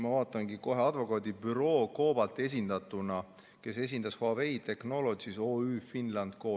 Ma vaatan kohe: advokaadibüroo COBALT esindas Huawei Technologies Oy Co.